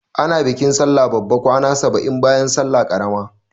Ana bikin sallah babba kwana saba'in bayan salla ƙarama.